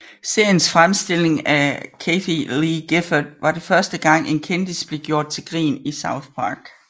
Seriens fremstilling af Kathie Lee Gifford var den første gang en kendis blev gjort til grin i South Park